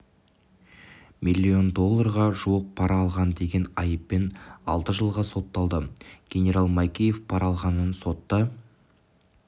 миллион долларға жуық пара алған деген айыппен алты жылға сотталды генерал майкеев пара алғанын сотта